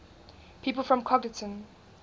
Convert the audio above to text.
people from congleton